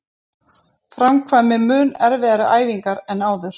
Framkvæmi mun erfiðari æfingar en áður